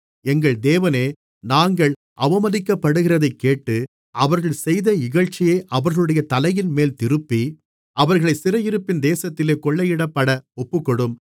எங்கள் தேவனே நாங்கள் அவமதிக்கப்படுகிறதைக் கேட்டு அவர்கள் செய்த இகழ்ச்சியை அவர்களுடைய தலையின்மேல் திருப்பி அவர்களைச் சிறையிருப்பின் தேசத்திலே கொள்ளையிடப்பட ஒப்புக்கொடும்